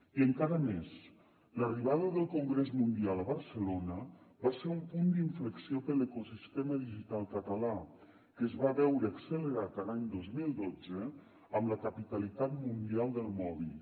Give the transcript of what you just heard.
i encara més l’arribada del congrés mundial a barcelona va ser un punt d’inflexió per a l’ecosistema digital català que es va veure accelerat l’any dos mil dotze amb la capitalitat mundial del mòbil